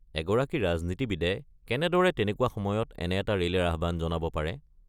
এগৰাকী ৰাজনীতিবিদে কেনেদৰে তেনেকুৱা সময়ত এনে এটা ৰেলীৰ আহ্বান জনাব পাৰে?